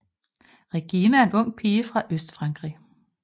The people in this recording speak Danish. Regina er en ung pige fra Østfrankrig